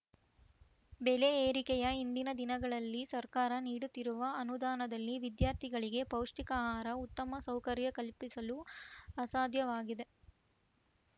ಬೆಲೆ ಏರಿಕೆಯ ಇಂದಿನ ದಿನಗಳಲ್ಲಿ ಸರ್ಕಾರ ನೀಡುತ್ತಿರುವ ಅನುದಾನದಲ್ಲಿ ವಿದ್ಯಾರ್ಥಿಗಳಿಗೆ ಪೌಷ್ಟಿಕ ಆಹಾರ ಉತ್ತಮ ಸೌಕರ್ಯ ಕಲ್ಪಿಸಲು ಅಸಾಧ್ಯವಾಗಿದೆ